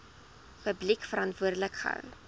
publiek verantwoordelik gehou